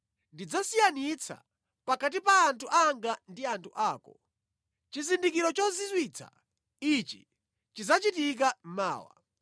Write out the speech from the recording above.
Ndidzasiyanitsa pakati pa anthu anga ndi anthu ako. Chizindikiro chozizwitsa ichi chidzachitika mawa.”